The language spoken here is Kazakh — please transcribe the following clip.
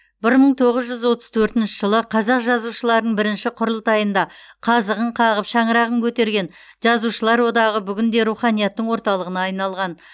бір мың тоғыз жүз отыз төртінші жылы қазақ жазушыларының бірінші құрылтайында қазығын қағып шаңырағын көтерген жазушылар одағы бүгінде руханияттың орталығына айналған